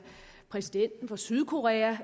præsidenten for sydkorea